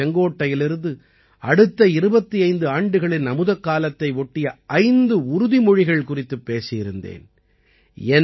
கடந்த ஆண்டு செங்கோட்டையிலிருந்து அடுத்த 25 ஆண்டுகளின் அமுதக்காலத்தை ஒட்டிய 5 உறுதிமொழிகள் குறித்துப் பேசியிருந்தேன்